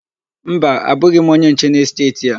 Mba, abụghị m onye nche n'esteeti a.